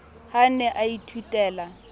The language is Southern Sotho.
ha a ne a ithutela